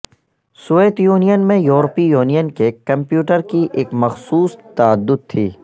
Soviet Union میں یورپی Union کے کمپیوٹر کی ایک مخصوص تعدد تھی